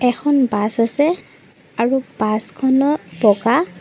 বএখন bus আছে আৰু বাছখনৰ বগা--